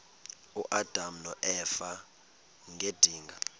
uadam noeva ngedinga